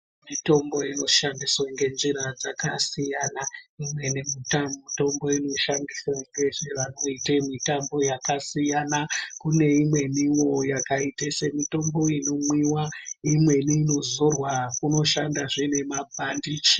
Mitombo inoshandiswa ngenjira dzakasiyana imweni mitombo inoshandiswa nevanoita mitambo yakasiyana kune imweniwo yakaita mitombo inomwiwa imweni inozorwa kunoshanda zvememapandichi.